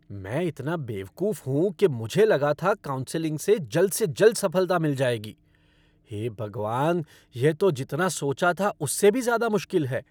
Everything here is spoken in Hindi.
मैं इतना बेवकूफ़ हूँ कि मुझे लगा था काउंसलिंग से जल्द से जल्द सफ़लता मिल जाएगी। हे भगवान! यह तो जितना सोचा था उससे भी ज़्यादा मुश्किल है।